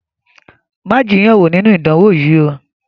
Má jiyàn wo ninu idánwo yìí ó!